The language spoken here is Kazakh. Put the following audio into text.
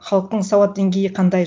халықтың сауат деңгейі қандай